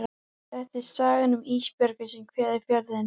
Þetta er sagan um Ísbjörgu sem kveður Fjörðinn.